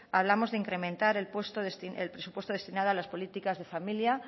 hablamos de incrementar el presupuesto destinado a las políticas de familia